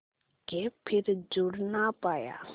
के फिर जुड़ ना पाया